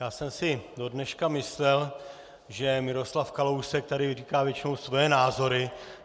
Já jsem si dodneška myslel, že Miroslav Kalousek tady říká většinou svoje názory.